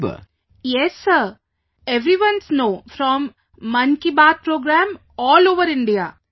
Vijayashanti ji yes sir, everyone's know from 'Mann Ki Baat' Program all over India